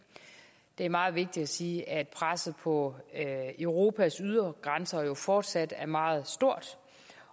det er meget vigtigt at sige at presset på europas ydre grænser fortsat er meget stort